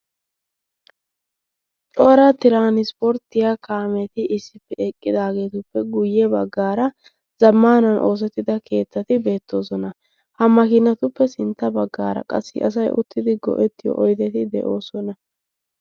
Cora tiranspporttiya kaameti issippe eqqidaageetuppe guyye baggaara zammanan oosettida keettati beettoosona. hammakiinatuppe sintta baggaara qassi asai uttidi go7ettiyo oideti de7oosona.